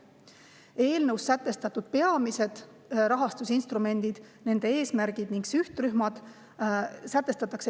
Eelnõus sätestatakse peamised rahastusinstrumendid, nende eesmärgid ning sihtrühmad.